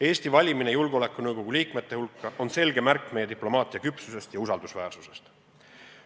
Eesti valimine julgeolekunõukogu liikmete hulka on selge märk meie diplomaatia küpsusest ja usaldusväärsusest.